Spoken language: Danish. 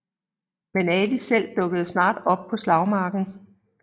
Men Ali selv dukkede snart op på slagmarken